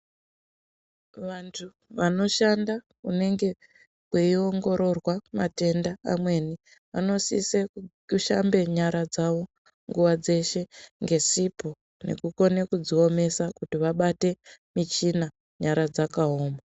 Vantu vanoshanda kunenge kweiongororwa matenda amweni anosise kushambe nyara dzawo nguwa dzeshe ngesipo nekukone kudziomesa kuti vabate michina nyara dzakaoma.